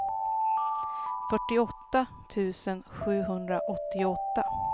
fyrtioåtta tusen sjuhundraåttioåtta